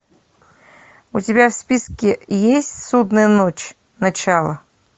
у тебя в списке есть судная ночь начало